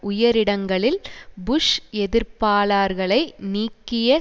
உயரிடங்களில் Bush எதிர்ப்பாளர்களை நீக்கிய